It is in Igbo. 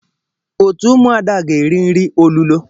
Otu ụmụada ga-eri nri olulo.